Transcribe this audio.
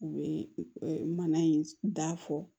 U bɛ mana in da fɔ